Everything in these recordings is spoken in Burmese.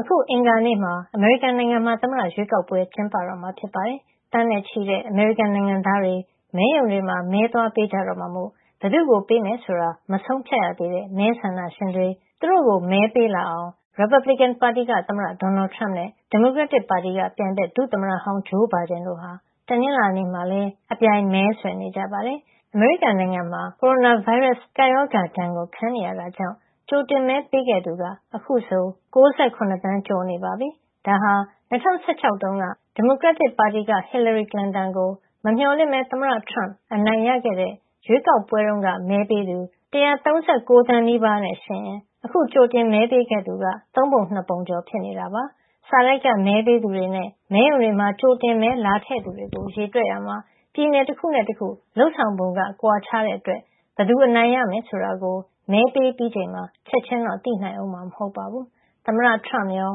အခု အင်္ဂါနေ့မှာ အမေရိကန်နိုင်ငံမှာ သမ္မတရွေးကောက်ပွဲ ကျင်းပတော့မှာ ဖြစ်ပါတယ်။ သန်းနဲ့ချီတဲ့ အမေရိကန်နိုင်ငံသားတွေ မဲရုံတွေမှာ မဲသွားပေးကြတော့မှာမို့ ဘယ်သူ့ကို ပေးမယ်ဆိုတာ မဆုံးဖြတ်ရသေးတဲ့ မဲဆန္ဒရှင်တွေ သူတို့ိကို မဲပေးလာအောင် ရီပတ်ဘလစ်ကင် ပါတီက သမ္မတဒေါ်နယ်ထရမ့်နဲ့ ဒီမိုကရက်တစ်ပါတီက ပြိုင်ဘက် ဒုသမ္မတဟောင်း ဂျိုးဘိုင်ဒန်ကိုဟာ တနင်္လာနေ့မှာလည်း အပြိုင်မဲဆွယ်နေကြပါတယ်။ အမေရိကန်နိုင်ငံမှာ ကိုရိုနာဗိုင်းရပ်စ် ကပ်ရောဂါဒဏ် ခံနေရတာကြောင့် ကြိုတင်မဲ ပေးခဲ့သူက အခုဆို ၉ ၇ သန်း ကျော်နေပြီဖြစ်ပြီး ဒါဟာ ၂၀၁၆ က ဒီမိုကရက်တစ်ပါတီက Hillary Clinton ကို မမျှော်လင့်ပဲ သမ္မတထရမ့် အနိုင်ရခဲ့တဲ့ ရွေးကောက်ပွဲတုန်းက မဲပေးသူ ၁၃၉ သန်းနီးပါးနဲ့ ယှဉ်ရင် အခုကြိုတင်မဲ ပေးခဲ့သူက သုံးပုံ ၂ ပုံ ကျော်နေတာဖြစ်ပါတယ်။ စာတိုက်ကမဲပေးသူတွေနဲ့ မဲရုံတွေမှာ ကြိုတင်မဲလာထည့်သူတွေ ကို ရေတွက်ရာမှာ ပြည်နယ် တခုနဲ့ တခု လုပ်ဆောင်ပုံကွာခြားတဲ့ အတွက် ဘယ်သူ အနိုင်ရမယ် ဆိုတာကို မဲပေးပြီးချိန်မှာ ချက်ချင်းတော့ သိနိုင်ဦးမှာ မဟုတ်ပါဘူး။ သမ္မတထရမ့်ရော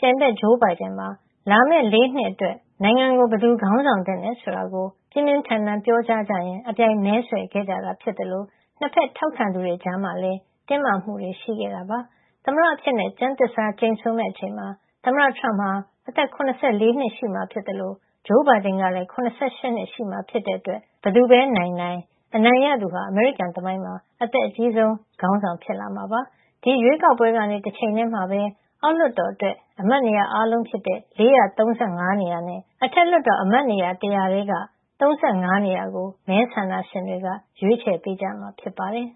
ပြိုင်ဘက် ဂျိုးဘိုင်ဒန်ပါ လာမယ့် ၄ နှစ်အတွက် နိုင်ငံကို ဘယ်သူခေါင်းဆောင် သင့်တယ်ဆိုတာကို ပြင်းပြင်းထန်ထန်ပြောကြားကြရင်း အပြိုင်မဲဆွယ်ခဲ့ကြတာ ဖြစ်သလို ၂ ဖက် ထောက်ခံသူတွေကြားမှာလည်း တင်းမာမှုတွေရှိခဲ့ပါတယ်။ သမ္မတအဖြစ် ကျမ်းသစ္စာကျိန်ဆိုမယ့် အချိန်မှာ သမ္မတထရမ့်ဟာ အသက် ၇၄ နှစ်ရှိမှာ ဖြစ်သလို ဂျိုးဘိုင်ဒင်ကလည်း ၇၈ ရှိမှာ ဖြစ်တဲ့ အတွက် ဘယ်သူပဲ နိုင်နိုင်၊ အနို်င်ရသူဟာ အမေရိကန် သမိုင်းမှာ အသက်အကြီးဆုံး ခေါင်းဆောင် ဖြစ်လာမှာပါ။ ဒီရွေးကောက်ပွဲကနေ တချိန်ထည်းမှာပဲ အောက်လွှတ်တော် အတွက် အမတ်နေရာ အားလုံးဖြစ်တဲ့ ၄၃၅ နေရာနဲ့ အထက်လွှတ်တော် အမတ်နေရာ ၁၀၀ ထဲက ၃၅ နေရာကို မဲဆန္ဒရှင်တွေက ရွေးချယ်ပေးကြမှာဖြစ်ပါတယ်